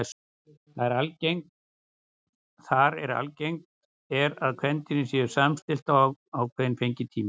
Þar er algengt er að kvendýrin séu samstillt á ákveðinn fengitíma.